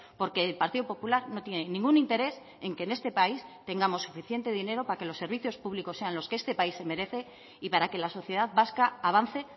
porque el partido popular no tiene ningún interés en que en este país tengamos suficiente dinero para que los servicios públicos sean los que este país se merece y para que la sociedad vasca avance